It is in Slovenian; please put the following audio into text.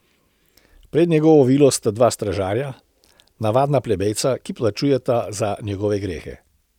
Pred njegovo vilo sta dva stražarja, navadna plebejca, ki plačujeta za njegove grehe.